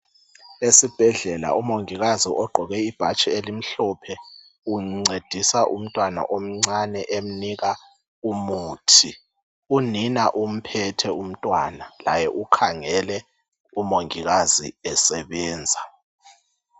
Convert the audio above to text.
Esibhedlela umongikazi ogqoke ibhatshi elimhlophe uncedisa umntwana omncane emnika umuthi. Unina umphethe umntwana laye ukhangele umongikazi esebenza.